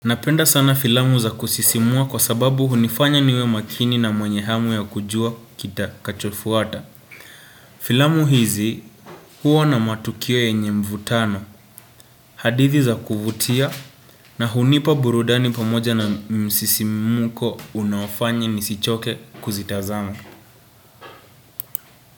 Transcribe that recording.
Napenda sana filamu za kusisimua kwa sababu hunifanya niwe makini na mwenyehamu ya kujua kita kachofuata. Filamu hizi hua na matukio yenye mvutano, hadithi za kuvutia na hunipa burudani pamoja na msisi mmuko unafanya nisichoke kuzitazama.